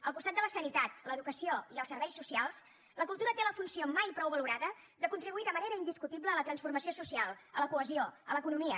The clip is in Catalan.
al costat de la sanitat l’educació i els serveis socials la cultura té la funció mai prou valorada de contribuir de manera indiscutible a la transformació social a la cohesió a l’economia